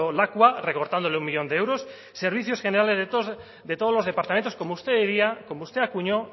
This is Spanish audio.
lakua recortándole un millón de euros servicios generales de todos los departamentos como usted diría como usted acuñó